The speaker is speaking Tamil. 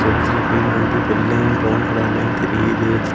ஒரு சில பெயிண்ட் வந்து வெள்ளையும் பிரவுன் கலர்லயும் தெரியுது.